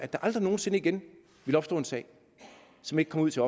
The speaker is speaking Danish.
der aldrig nogen sinde igen opstå en sag som ikke kom ud til